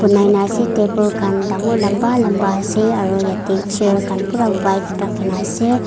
banai na ase table khan dangor lamba lamba ase aro yate chair khan pura white rakhi na ase.